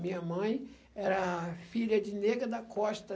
Minha mãe era filha de nega da costa.